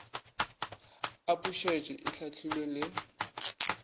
a pušetšo e hlahlile le